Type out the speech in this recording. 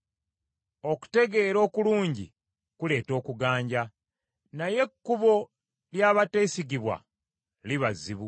Okutegeera okulungi kuleeta okuganja, naye ekkubo ly’abateesigibwa liba zzibu.